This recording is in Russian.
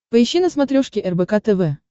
поищи на смотрешке рбк тв